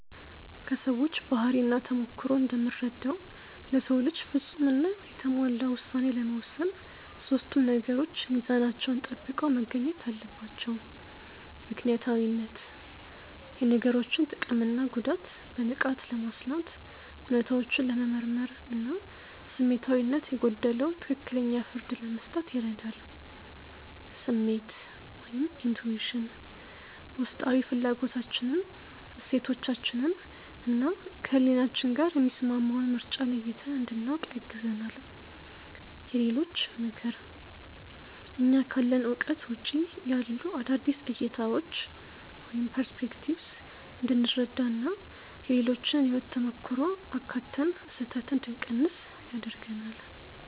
ከሰዎች ባህሪና ተሞክሮ እንደምረዳው፣ ለሰው ልጅ ፍጹም እና የተሟላ ውሳኔ ለመወሰን ሶስቱም ነገሮች ሚዛናቸውን ጠብቀው መገኘት አለባቸው፦ ምክንያታዊነት፦ የነገሮችን ጥቅምና ጉዳት በንቃት ለማስላት፣ እውነታዎችን ለመመርመር እና ስሜታዊነት የጎደለው ትክክለኛ ፍርድ ለመስጠት ይረዳል። ስሜት (Intuition)፦ ውስጣዊ ፍላጎታችንን፣ እሴቶቻችንን እና ከህሊናችን ጋር የሚስማማውን ምርጫ ለይተን እንድናውቅ ያግዘናል። የሌሎች ምክር፦ እኛ ካለን እውቀት ውጪ ያሉ አዳዲስ እይታዎችን (Perspectives) እንድንረዳ እና የሌሎችን የህይወት ተሞክሮ አካትተን ስህተትን እንድንቀንስ ያደርገናል።